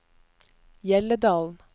Hjelledalen